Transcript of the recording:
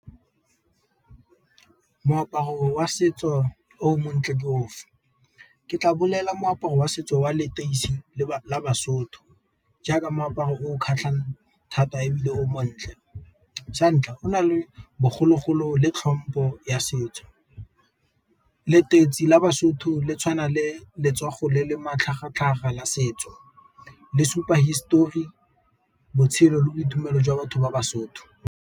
Moaparo wa setso o montle ke ofe? Ke tla bolela moaparo wa setso wa leteisi la baSotho, jaaka moaparo o kgatlhang thata ebile o montle. Santlha go na le bogologolo le tlhompho ya setso. Leteisi la baSotho le tshwana le letsogo le le matlhagatlhaga ya setso, le supa hisetori, botshelo le boitumelo jwa batho ba baSotho.